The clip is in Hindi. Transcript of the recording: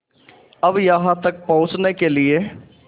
अब यहाँ तक पहुँचने के लिए